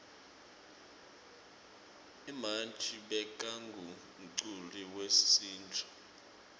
umanji bekangumculi wesintfu